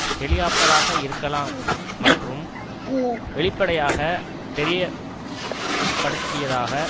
ஹெலிகாப்டராக இருக்கலாம் மற்றும் வெளிப்படையாக தெரியத் படுத்தியதாக